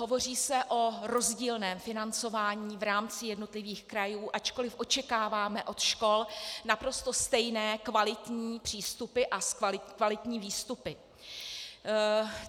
Hovoří se o rozdílném financování v rámci jednotlivých krajů, ačkoliv očekáváme od škol naprosto stejné kvalitní přístupy a kvalitní výstupy.